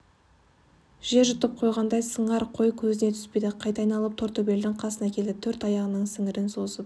жер жұтып қойғандай сыңар қой көзіне түспейді қайта айналып тортөбелдің қасына келді төрт аяғының сіңірін созып